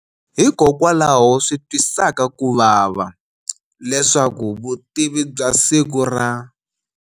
Hikokwalaho swi twisaka kuvava leswaku vutivi bya siku ra.